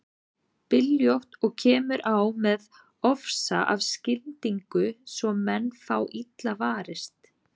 Byljótt og kemur á með ofsa af skyndingu svo menn fá illa varist.